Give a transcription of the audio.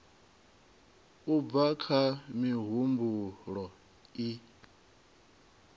u bva kha mihumbulo i